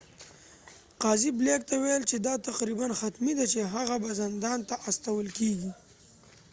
قاضي بلیک ته وویل چې دا تقریباً حتمي ده چې هغه به زندان ته استول کیږي